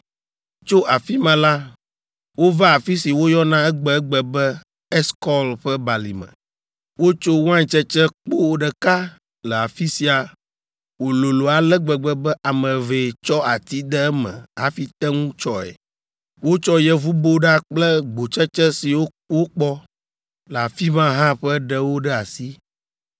Tso afi ma la, wova afi si woyɔna egbegbe be, Eskɔl ƒe Balime. Wotso waintsetse kpo ɖeka le afi sia wòlolo ale gbegbe be ame evee tsɔ ati de eme hafi te ŋu tsɔe! Wotsɔ yevuboɖa kple gbotsetse siwo wokpɔ le afi ma hã ƒe ɖewo ɖe asi.